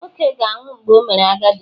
Nwoke ga-anwụ mgbe o mere agadi